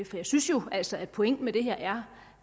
for jeg synes jo altså at pointen med det her er